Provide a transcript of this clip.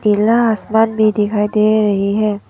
नीला आसमान भी दिखाई दे रही है।